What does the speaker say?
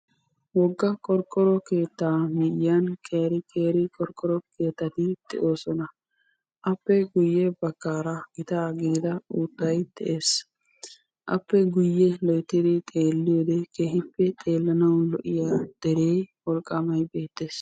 wogga qorqqoro keettaa miyyiyaan qeeri qeeri qorqqoro keettati de'oosona; appe guyyee baggara gita gidida uuttay de'ees; appe guyyee loyttidi xeeliyoode keehippe xellanaw lo''iya dere wolqqamay beettees.